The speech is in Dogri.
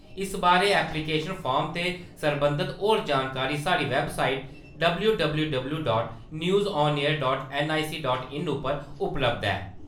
इस बारै ऐप्लीकेशन फार्म ते सरबंधत होर जानकारी साढ़ी website W W W dot news on air dot NIC dot in उप्पर उपलब्ध ऐ।